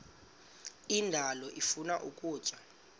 indalo ifuna ukutya